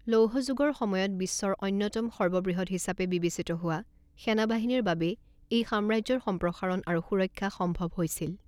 লৌহ যুগৰ সময়ত বিশ্বৰ অন্যতম সৰ্ববৃহৎ হিচাপে বিবেচিত হোৱা সেনাবাহিনীৰ বাবেই এই সাম্ৰাজ্যৰ সম্প্ৰসাৰণ আৰু সুৰক্ষা সম্ভৱ হৈছিল।